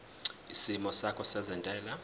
isimo sakho sezentela